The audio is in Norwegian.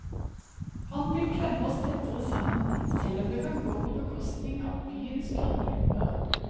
Han vil klemme oss tettere sammen selv om det kan gå på bekostning av byens grønne lunger.